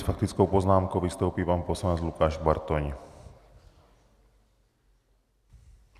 S faktickou poznámkou vystoupí pan poslanec Lukáš Bartoň.